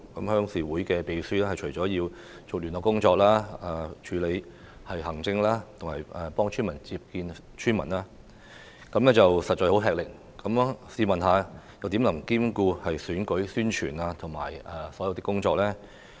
鄉事會的秘書除了負責聯絡工作外，還要處理行政工作及接見村民，實在很吃力，試問又怎能兼顧選舉的宣傳及其他工作呢？